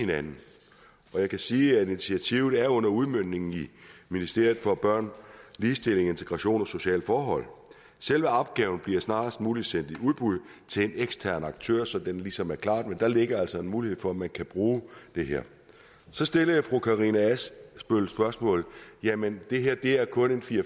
hinanden jeg kan sige at initiativet er under udmøntning i ministeriet for børn ligestilling integration og sociale forhold selve opgaven bliver snarest muligt sendt i udbud til en ekstern aktør så den ligesom er klaret men der ligger altså en mulighed for at man kan bruge det her så stillede fru karina adsbøl spørgsmålet jamen det her er kun fire